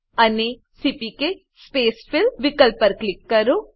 અને CPK spacefill વિકલ્પ પર ક્લિક કરો